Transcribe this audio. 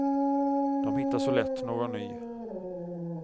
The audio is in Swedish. De hittar så lätt någon ny.